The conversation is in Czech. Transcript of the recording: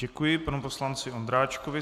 Děkuji panu poslanci Ondráčkovi.